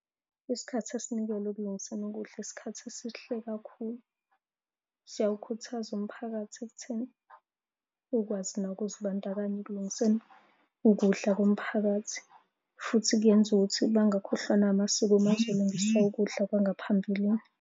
Isikhathi esinikelwe ekulungiseni ukudla, isikhathi esihle kakhulu. Siyawukhuthaza umphakathi ekutheni ukwazi nawo ukuzibandakanya ekulungiseni ukudla komphakathi, futhi kuyenza ukuthi bangakhohlwa na amasiko uma bezolungisa ukudla kwangaphambilini.